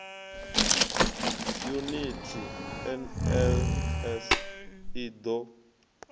yuniti nls i d o